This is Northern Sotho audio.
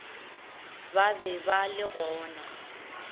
ba be ba le gona